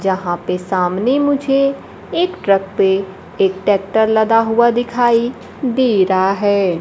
जहां पे सामने मुझे एक ट्रक पे एक ट्रैक्टर लदा हुआ दिखाई दे रहा है।